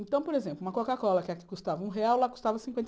Então, por exemplo, uma Coca-Cola, que aqui custava um real, lá custava cinquenta